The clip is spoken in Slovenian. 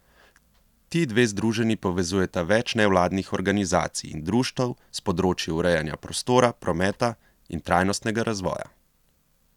Ti dve združenji povezujeta več nevladnih organizacij in društev s področij urejanja prostora, prometa in trajnostnega razvoja.